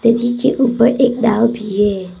नदी के ऊपर एक नाव भी है।